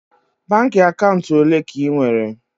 Baankị akaụntụ ole ka ị nwere?